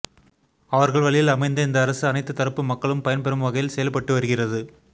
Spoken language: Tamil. அவர்கள் வழியில் அமைந்த இந்த அரசு அனைத்து தரப்பு மக்களும் பயன்பெறும் வகையில் செயல்பட்டு வருகிறது